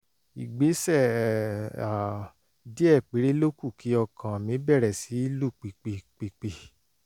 ìgbésẹ̀ um díẹ̀ péré ló kù kí ọkàn mi bẹ̀rẹ̀ sí lù pìpì pìpì